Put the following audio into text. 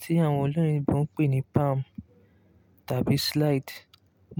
tí àwọn ọlọ́yinboń pé ní palm tàbí slide.